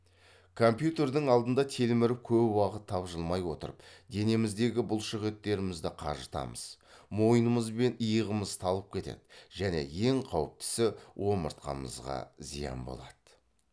компьютердің алдында телміріп көп уақыт тапжылмай отырып денеміздегі бұлшықеттерді қажытамыз мойынымыз бен иығымыз талып кетеді және ең қауіптісі омыртқамызға зиян болады